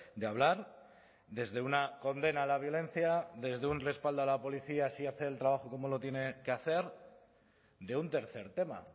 de hablar desde una condena a la violencia desde un respaldo a la policía si hace el trabajo como lo tiene que hacer de un tercer tema